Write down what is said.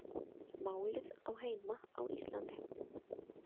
Málið á heima á Íslandi